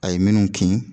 A ye minnu kin